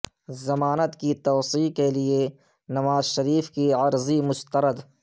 ضمانت کی توسیع کے لئے نواز شریف کی عرضی مسترد